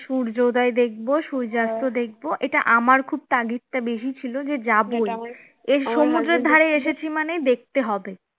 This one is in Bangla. সূর্যোদয় দেখব সূর্যাস্ত দেখব এটা আমার খুব তাগিদটা বেশি ছিল যে যাবই, এই সমুদ্রের ধারে এসেছি মানে দেখতে হবে